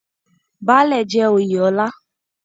Baálẹ̀ jẹ́ oyè ọlá.